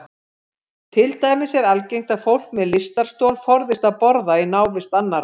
Til dæmis er algengt að fólk með lystarstol forðist að borða í návist annarra.